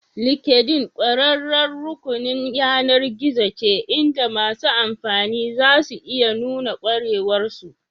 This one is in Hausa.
LinkedIn ƙwararriyar rukunin yAnar gizon ce inda masu amfani za su iya nuna ƙwarewar su